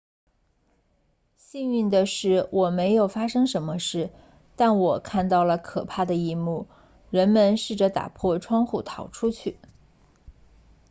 幸运的是我没有发生什么事但我看到了可怕的一幕人们试着打破窗户逃出去